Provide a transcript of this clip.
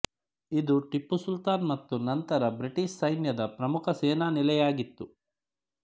ಇದು ಟಿಪ್ಪು ಸುಲ್ತಾನ್ ಮತ್ತು ನಂತರ ಬ್ರಿಟಿಷ್ ಸೈನ್ಯದ ಪ್ರಮುಖ ಸೇನಾ ನೆಲೆಯಾಗಿತ್ತು